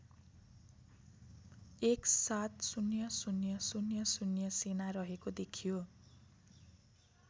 १७०००० सेना रहेको देखियो